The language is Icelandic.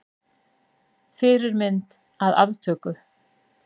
Fyrirmynd að aftöku.